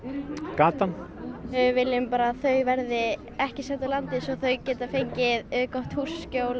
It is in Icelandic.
gatan við viljum bara að þau verði ekki send úr landi svo þau geti fengið gott húsaskjól